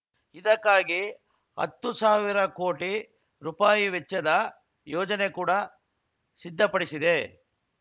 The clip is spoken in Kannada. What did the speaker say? ಇದಕ್ಕಾಗಿ ಹತ್ತು ಸಾವಿರ ಕೋಟಿ ರುಪಾಯಿ ವೆಚ್ಚದ ಯೋಜನೆ ಕೂಡಾ ಸಿದ್ಧಪಡಿಸಿದೆ